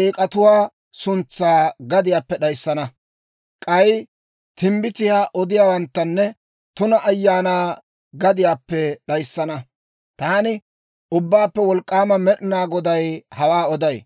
eek'atuwaa suntsaa gadiyaappe d'ayissana. K'ay timbbitiyaa odiyaawanttanne tuna ayaanaa gadiyaappe d'ayissana. Taani Ubbaappe Wolk'k'aama Med'inaa Goday hawaa oday.